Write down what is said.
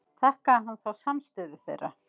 Þakkaði hann þá samstöðu þeirra.